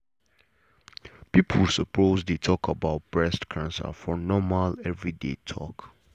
people suppose dey talk about breast cancer for normal everyday talk.